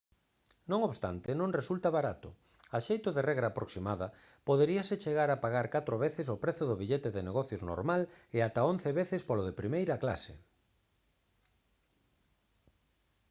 non obstante non resulta barato a xeito de regra aproximada poderíase chegar a pagar catro veces o prezo do billete de negocios normal e ata once veces polo de primeira clase